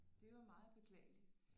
Det er jo meget beklageligt